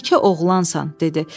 Yekə oğlansan, dedi.